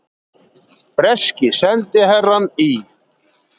Breski sendiherrann í